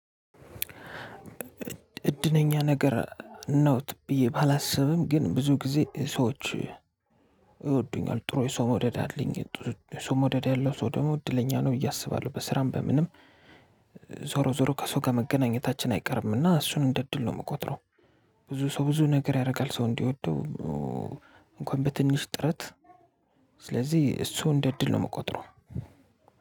እድለኛ ነገር ነው ብዬ ባላስብም ግን ብዙ ጊዜ ሰዎች ይወዱኛል ጥሩ የሰው መውደድ አለኝ። የሰው መውደድ ያለው ሰው ደግሞ እድለኛ ነው ብዬ አስባለሁ። በስራም በምንም ዞሮ ዞሮ ከሰው ጋር መገናኘታችን አይቀርምና እሱን እንደ እድል ነው የምቆጥረው። ብዙ ሰው ብዙ ነገር ያደርጋል ሰው እንዲወደው። እንኳን በትንሽ ጥረት። ስለዚህ እሱ እንደ እድል ነው የምቆጥረው።